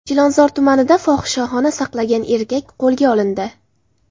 Chilonzor tumanida fohishaxona saqlagan erkak qo‘lga olindi.